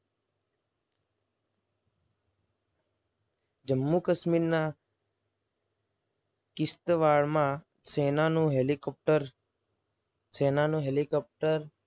જમ્મુ કાશ્મીરના કિસ્સ વાળમાં સેનાનું હેલિકોપ્ટર સેના નો હેલિકોપ્ટર